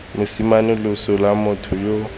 mosime loso lwa motho yo